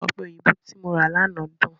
Ọ̀pẹ̀ òyìnbó tí mo rà lánàá dùn.